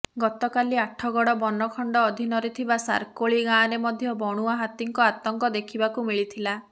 ଗତକାଲି ଆଠଗଡ ବନଖଣ୍ଡ ଅଧୀନରେ ଥିବା ସାରକୋଳି ଗାଁରେ ମଧ୍ୟ ବଣୁଆ ହାତୀଙ୍କ ଆତଙ୍କ ଦେଖିବାକୁ ମିଳିଥିଲା